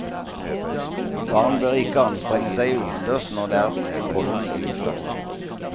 Barn bør ikke anstrenge seg utendørs når det er pollen i luften.